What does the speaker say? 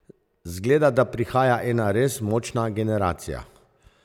Zgleda, da prihaja ena res močna generacija.